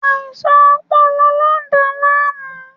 Aisan ọpọlọ lo n da laamu